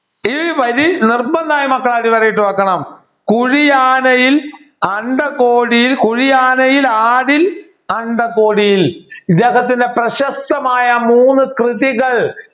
ഈ വരി നിർബന്ധമായും മക്കൾ അടിവരയിട്ട് വെക്കണം കുഴിയാനയിൽ അണ്ഡകോടിയിൽ കുഴിയാനയിലാടിൽ അണ്ഡകോടിയിൽ ഇദ്ദേഹത്തിൻ്റെ പ്രശസ്തമായ മൂന്ന് കൃതികൾ